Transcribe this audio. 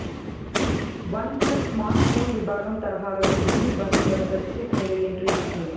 one plus smart phone విభాగం తరహాలోనే TV విభాగంలోనే ప్రత్యేకంగా ఎంట్రీ ఇచ్చింది